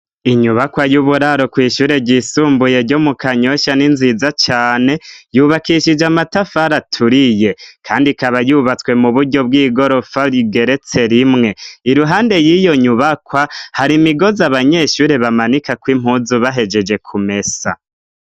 Inyubakwa y'uburaro kw'ishure ryisumbuye ryo mu Kanyosha, n'inziza cane. Yubakishije amatafari aturiye, kandi ikaba yubatswe mu buryo bw'igorofa rigeretse rimwe. Iruhande y'iyo nyubakwa, har'imigozi abanyeshuri bamanikako impuzu bahejeje kumesa.